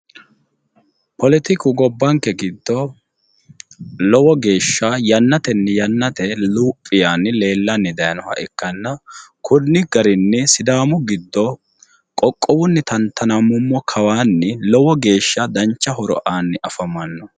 poletiku gobbanke giddo lowo geeshsha yannatenni yannate luphi yaanni leellanni dayiinoha ikkanna konni garinni sidaami giddo qoqowunni xantanammummo kawanni lowo geeshsha dancha horo aanni afamanno.